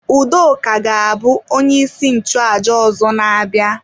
Udoka ga-abụ onye isi nchụaja ọzọ na-abịa.